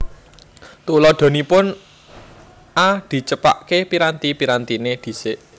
Tuladhanipun A Dicepakké piranti pirantiné dhisik